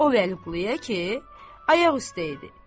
O Vəliquluya ki, ayaq üstə idi.